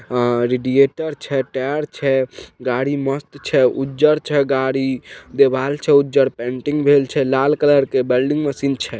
हां रेडिएटर छै टायर छै गाड़ी मस्त छै उज्जर छै गाड़ी देवाल छै उज्जर पेंटिंग भेल छे लाल कलर के वेल्डिंग मशीन छै।